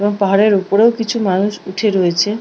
এবং পাহাড়ের উপরেও কিছু মানুষ উঠে রয়েছে--